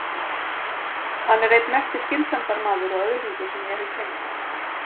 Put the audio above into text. Hann er einn mesti skynsemdarmaður og öðlingur sem ég hef kynnst.